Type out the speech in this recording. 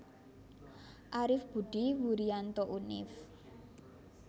Arif Budi Wurianto Univ